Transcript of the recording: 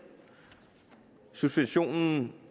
suspensionen